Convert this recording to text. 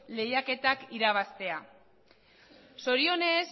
lehiaketak irabaztea zorionez